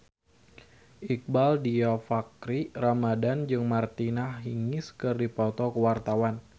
Iqbaal Dhiafakhri Ramadhan jeung Martina Hingis keur dipoto ku wartawan